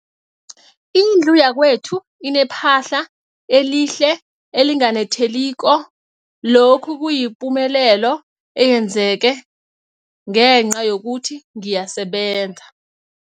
Indlu yakwethu inephahla elihle, elinganetheliko, lokhu kuyipumelelo eyenzeke ngenca yokuthi ngiyasebenza.